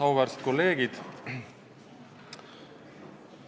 Auväärsed kolleegid!